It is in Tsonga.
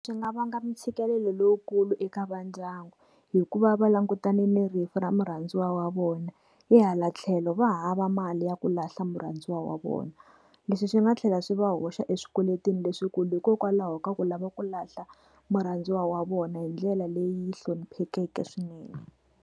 Swi nga va nga mi ntshikelelo lowukulu eka va ndyangu hikuva va langutana ni rifu ra murhandziwa wa vona hi hala tlhelo va hava mali ya ku lahla murhandziwa wa vona leswi swi nga tlhela swi va hoxa swikweletini leswikulu hikokwalaho ka ku lava ku lahla murhandziwa wa vona hi ndlela leyi hloniphekeke swinene.